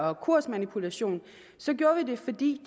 og kursmanipulation gjorde vi det fordi